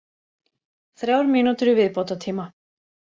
Þrjár mínútur í viðbótartíma.